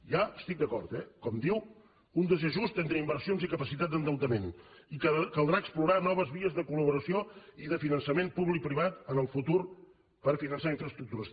hi estic d’acord eh com diu un desajust entre inversions i capacitat d’endeutament i caldrà explorar noves vies de collaboració i de finançament públic i privat en el futur per finançar infraestructures